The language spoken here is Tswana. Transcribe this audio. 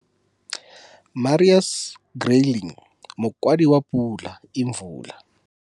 Marius Greyling, Mokwadi wa Pula Imvula.